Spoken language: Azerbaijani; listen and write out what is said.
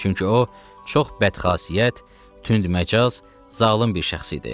Çünki o çox bədxasiyyət, tündməcaz, zalım bir şəxs idi.